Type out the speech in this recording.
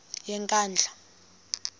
yenkandla